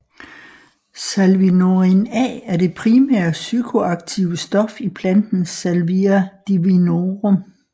Salvinorin A er det primære psykoaktive stof i planten Salvia divinorum